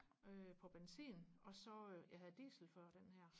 øh på benzin og så jeg havde diesel før den her